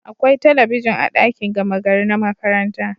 Akwai talabijin a dakin gama gari na makaranta